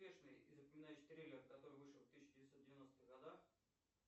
успешный и запоминающийся триллер который вышел в тысяча девятьсот девяностых годах